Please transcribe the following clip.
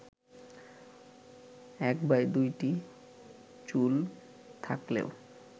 ১/২টি চুল থাকলেও